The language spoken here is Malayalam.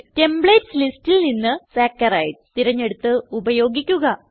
ടെംപ്ലേറ്റ്സ് ലിസ്റ്റിൽ നിന്ന് സാക്കറൈഡ്സ് തിരഞ്ഞെടുത്ത് ഉപയോഗിക്കുക